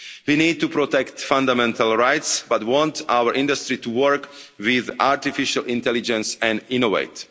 We need to protect fundamental rights, but we want our industry to work with artificial intelligence and innovate.